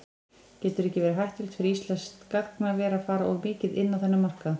Getur ekki verið hættulegt fyrir íslenskt gagnaver að fara of mikið inn á þennan markað?